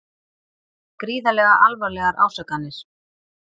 Gríðarlega alvarlegar ásakanir